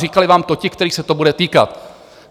Říkali vám to ti, kterých se to bude týkat.